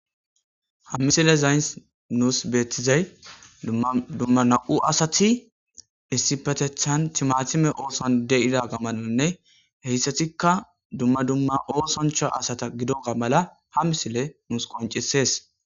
Ha misilezays nuussi beeththizay dumma dumma naa7u asathi issippetheththan thimaathime oosuwan de7iza asathamanne heezathikka dumma dumma oosanchcha asatha gidooga mala ha misilee nuus qonccissees.